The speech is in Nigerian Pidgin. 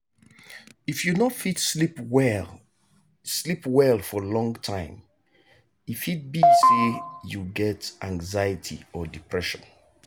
if you no fit sleep well sleep well for long time e fit be say you get anxiety or depression.